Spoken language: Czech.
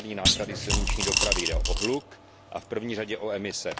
externí náklady silniční dopravy jde o hluk a v první řadě o emise.